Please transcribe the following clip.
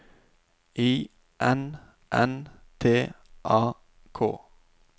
I N N T A K